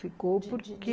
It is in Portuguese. Ficou porque...